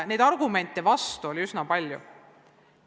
Vastuargumente oli üsna palju.